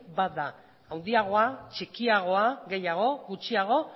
bat da handiagoa txikiagoa gehiago gutxiago